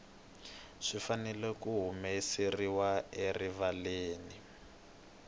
swi fanele ku humeseriwa erivaleni